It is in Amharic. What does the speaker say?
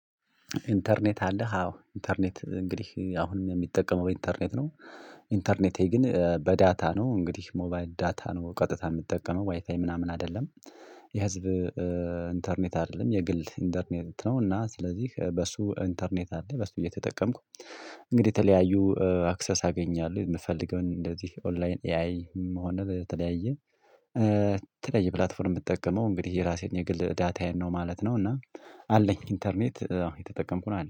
ኢንተርኔት አለህ አዎ ኢንተርኔት እንግዲህ አሁንም የምጠቀመው ኢንተርኔት ነው። ኢንተርኔቴ ግን በዳታ ነው እንግዲህ ሞባይል ዳታ ነው ቀጥታ የምትጠቀመው ዋይፋይ ምናምን አይደለም። የህዝብ ኢንተርኔት አይደለም የግል ኢንተርኔት ነው። እና ስለዚህ በሱ ኢንተርኔት አለ በሱ እየተጠቀምኩ። እንግዲህ የተለያዩ አክሰስ አገኛለሁ የምፈልገውን እንደዚህ ኦንላይን ኤአይ ምሆነ ተለያየ የተለያየ ፕላትፎርም የምትጠቀመው እንግዲህ የራሴን የግል ዳታዬን ነው ማለት ነው። እና አለኝ ኢንተርኔት እየተጠቀምኩነው ያለው